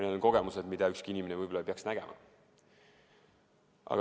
See oli vaatepilt, mida ükski inimene ei peaks nägema.